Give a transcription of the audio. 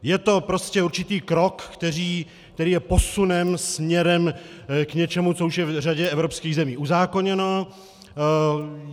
Je to prostě určitý krok, který je posunem směrem k něčemu, co už je v řadě evropských zemí uzákoněno.